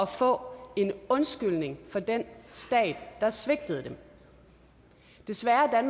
få en undskyldning fra den stat der svigtede dem desværre er